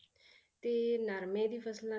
ਤੇ ਨਰਮੇ ਦੀ ਫਸਲਾਂ